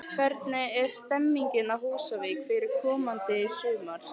Hvernig er stemmingin á Húsavík fyrir komandi sumar?